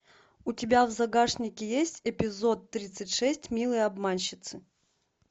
у тебя в загашнике есть эпизод тридцать шесть милые обманщицы